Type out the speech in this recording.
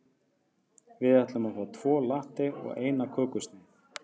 Við ætlum að fá tvo latte og eina kökusneið.